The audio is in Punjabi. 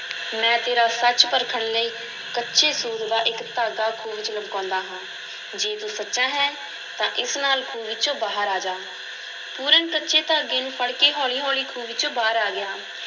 ਮੈਂ ਤੇਰਾ ਸੱਚ ਪਰਖਣ ਲਈ ਕੱਚੇ ਸੂਤ ਦਾ ਇੱਕ ਧਾਗਾ ਖੂਹ ਵਿੱਚ ਲਮਕਾਉਂਦਾ ਹਾਂ, ਜੇ ਤੂੰ ਸੋਚਾ ਹੈਂ ਤਾਂ ਇਸ ਨਾਲ ਖੂਹ ਵਿੱਚੋਂ ਬਾਹਰ ਆ ਜਾ, ਪੂਰਨ ਕੱਚੇ ਧਾਗੇ ਨੂੰ ਫੜ ਕੇ ਹੌਲੀ-ਹੌਲੀ ਖੂਹ ਵਿੱਚੋਂ ਬਾਹਰ ਆ ਗਿਆ।